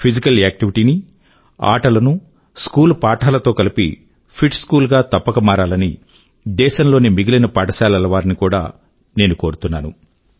physical activity నీ ఆటలనూ school పాఠాలతో కలిపి ఫిట్ స్కూల్ గా తప్పక మారాలని దేశం లోని మిగిలిన పాఠశాలల వారిని కూడా నేను కోరుతున్నాను